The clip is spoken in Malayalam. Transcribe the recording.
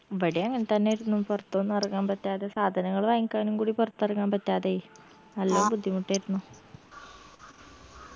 ഇബടേം അങ്ങൻതന്നേര്ന്നു പൊറത്തൊന്നു എറങ്ങാൻ പറ്റാതെ സാധനങ്ങൾ വാങ്ങിക്കാനും കൂടി പൊറത്തെറങ്ങാൻ പറ്റാതായ് നല്ല ബുദ്ധിമുട്ടേർന്നു